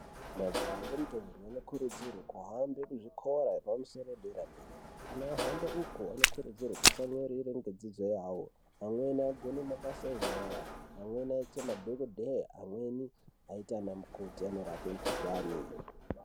Majaha nentombi anokurudzirwe kuhamba kuzvikora zvepamusoro dera-dera kana ahamba uko anokurudzirwa kutsamwirire ngedzidzo yavo vamweni vanokona mabasa enyara amweni anoita madhokodheya amweni anoita anamukoti anorape mukhuhlani.